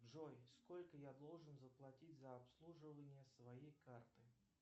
джой сколько я должен заплатить за обслуживание своей карты